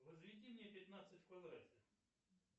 возведи мне пятнадцать в квадрате